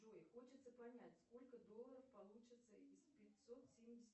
джой хочется понять сколько долларов получится из пятьсот семьдесят